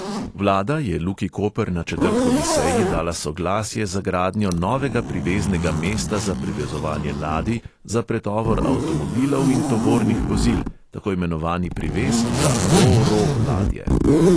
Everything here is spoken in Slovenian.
Vlada je luki koper na četrtkovi seji dala soglasje za gradnjo novega priveznega mesta za privezovanje ladij za pretovor avtomobilov in tovornih vozil, tako imenovani privez za ro-ro ladje.